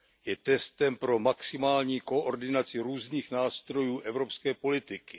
Je testem pro maximální koordinaci různých nástrojů evropské politiky.